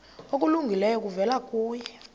okulungileyo kuvela kuye